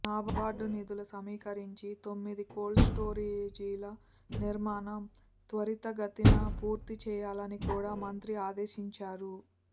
నాబార్డు నిధులు సమీకరించి తొమ్మిది కోల్డ్ స్టోరేజీల నిర్మాణం త్వరితగతిన పూర్తి చేయాలని కూడా మంత్రి ఆదేశించారు